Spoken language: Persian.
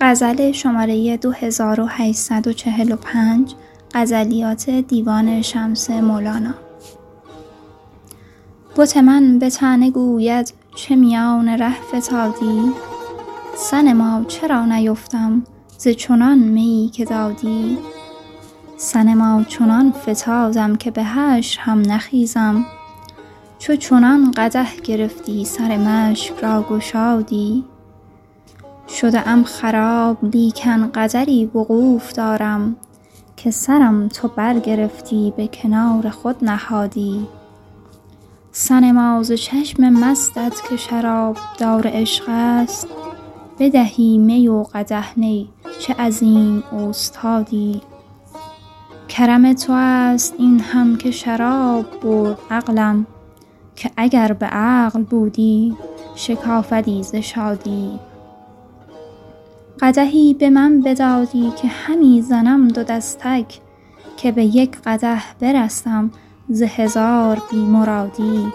بت من به طعنه گوید چه میان ره فتادی صنما چرا نیفتم ز چنان میی که دادی صنما چنان فتادم که به حشر هم نخیزم چو چنان قدح گرفتی سر مشک را گشادی شده ام خراب لیکن قدری وقوف دارم که سرم تو برگرفتی به کنار خود نهادی صنما ز چشم مستت که شرابدار عشق است بدهی می و قدح نی چه عظیم اوستادی کرم تو است این هم که شراب برد عقلم که اگر به عقل بودی شکافدی ز شادی قدحی به من بدادی که همی زنم دو دستک که به یک قدح برستم ز هزار بی مرادی